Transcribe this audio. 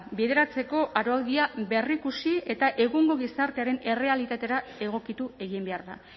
bideratzeko araudia berrikusi eta egungo gizartearen errealitatera egokitu egin behar da